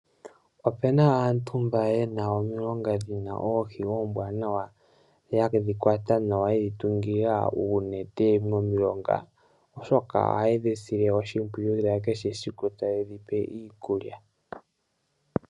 Opu na aantu mboka ye na omilonga dhi na oohi ombwananwa, ye dhi tungula uunete momilonga. Ohaye dhi sile oshimpwiyu kehe esiku, taye dhi pe iikulya.